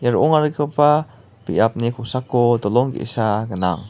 ro·ongarigipa biapni kosako dolong ge·sa gnang.